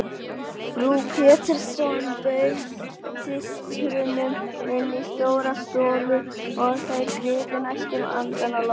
Frú Pettersson bauð systrunum inn í stóra stofu og þær gripu næstum andann á lofti.